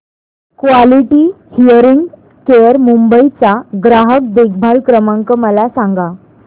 quality hearing care Mumbai चा ग्राहक देखभाल क्रमांक मला सांगा